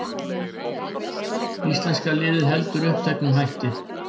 Íslenska liðið heldur uppteknu hætti